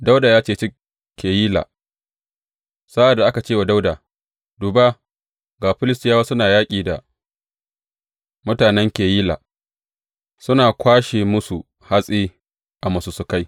Dawuda ya ceci Keyila Sa’ad da aka ce wa Dawuda, Duba ga Filistiyawa suna yaƙi da mutanen Keyila, suna kwashe musu hatsi a masussukai.